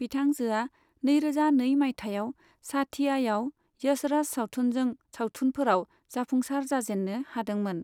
बिथांजोआ नैरोजा नै मायथाइयाव साथियायाव यशराज सावथुनजों सावथुनफोराव जाफुंसार जाजेन्नो हादोंमोन।